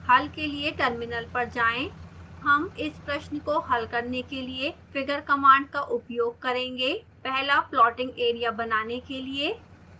हल के लिए टर्मिनल पर जाएं